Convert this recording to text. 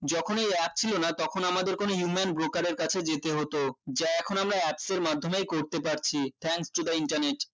যখন ওই app ছিল না তখন আমাদের কোনো human broker এর কাছে যেতে হতো যা এখন আমরা apps এর মাধ্যমেই করতে পারছি thanks to the internet